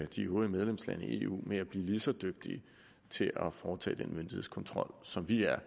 de øvrige medlemslande i eu med at blive lige så dygtige til at foretage den myndighedskontrol som vi er